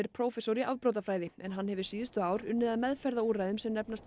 prófessor í afbrotafræði en hann hefur síðustu ár unnið að meðferðarúrræðum sem nefnast